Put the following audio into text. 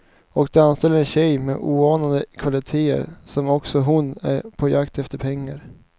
Och de anställer en tjej med oanade kvalitéer, som också hon är på jakt efter pengar.